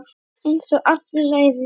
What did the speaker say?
Einsog allir læðist.